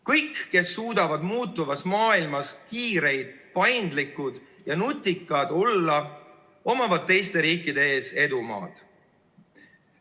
Kõigil, kes suudavad muutuvas maailmas kiired, paindlikud ja nutikad olla, on teiste riikide ees edumaa.